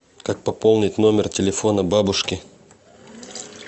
как пополнить номер телефона бабушки